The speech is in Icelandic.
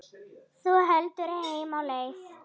Þú heldur heim á leið.